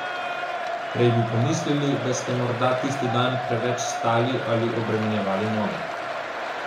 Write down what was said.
Prej bi pomislili, da ste morda tisti dan preveč stali ali obremenjevali noge.